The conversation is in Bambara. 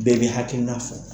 Bɛɛ bɛ kɛ hakilina na fɔ.